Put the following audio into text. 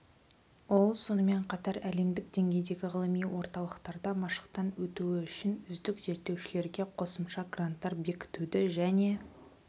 ол сонымен қатар әлемдік деңгейдегі ғылыми орталықтарда машықтан өтуі үшін үздік зерттеушілерге қосымша гранттар бекітуді және